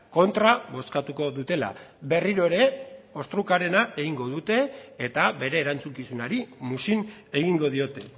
kontra bozkatuko dutela berriro ere ostrukarena egingo sute eta bere erantzukizunari muzin egingo diote